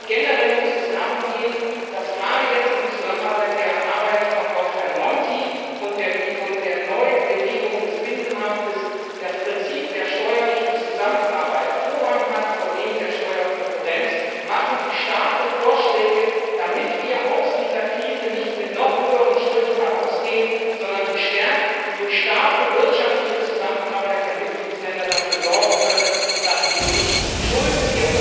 Generell muss es darum gehen, dass gerade jetzt im Zusammenhang mit der Arbeit von Herrn Monti und der Neubelebung des Binnenmarktes das Prinzip der steuerlichen Zusammenarbeit Vorrang hat vor dem der Steuerkonkurrenz. Machen Sie starke Vorschläge, damit wir aus dieser Krise nicht mit höheren Schulden hervorgehen, sondern damit wir, gestärkt durch eine starke wirtschaftliche Zusammenarbeit der Mitgliedsländer, dafür sorgen können, dass wir unseren Kindern nicht Schulden